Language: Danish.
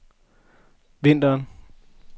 vinteren